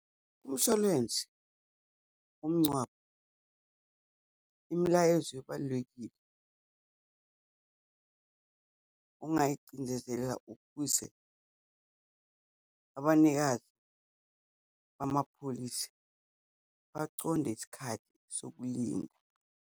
Umshwalense womngcwabo, imilayezo ebalulekile ongayicindezela ukuze abanikazi bamapholisi baconde isikhathi sokulinda.